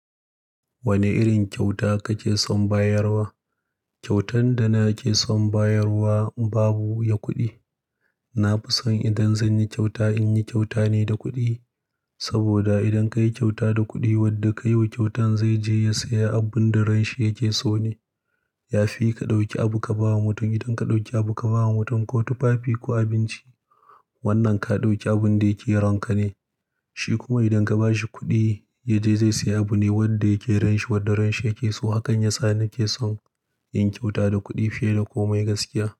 Wane irin kyauta kake son bayarwa? Kyautan da nake son bayarwa in babu ya kuɗi. Na fi son idan zan yi kyauta, in yi kyauta ne da kuɗi. Saboda idan ka yi kyauta da kuɗi, wanda ka yi wa kyautan zai je ya saya abun da ranshi yake so ne. Yafi ka ɗauki abu ka ba wa mutum. Idan ka ɗauki abu ka ba wa mutum ko tufafi ko abinci, wannan ka ɗauki abun da yake ranka ne. Shi kuma idan ka ba shi kuɗi, yaje zai saya abu ne wanda yake ranshi, wanda ranshi yake so. Hakan ya sa nake son yin kyauta da kuɗi fiye da komai gaskiya.